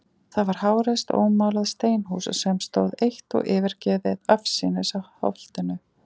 Það var háreist ómálað steinhús, sem stóð eitt og yfirgefið afsíðis á Holtinu.